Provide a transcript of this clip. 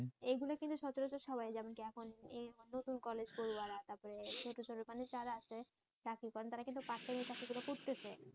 এগুলো কিন্তু সচরাচর সবাই যেমন কিএখন নতুন কলেজ পড়ুয়ারা তারপর ছোট ছোট মানে যারা আছে চাকরি করেন তারা কিন্তু বাধ্য হয়ে চাকরিগুলো করতেছে